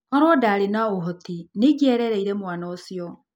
Korũo nĩ ndaarĩ na ũhoti, nĩ ingĩarereire mwana ũcio.